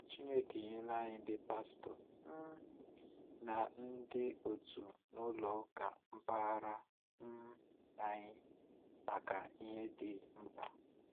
Chineke enyela ànyị ndị Pastọ um na ndị òtù n'ụlọ ụka mpaghara um anyị maka ihe dị mkpa.